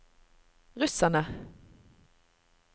russerne